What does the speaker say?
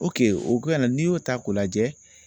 o n'i y'o ta k'o lajɛ